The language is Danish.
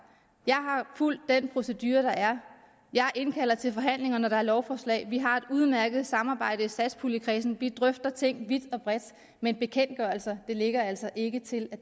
jeg har fulgt den procedure der er jeg indkalder til forhandlinger når der er lovforslag vi har et udmærket samarbejde i satspuljekredsen vi drøfter ting vidt og bredt men bekendtgørelser ligger altså ikke til at